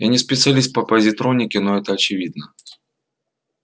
я не специалист по позитронике но это очевидно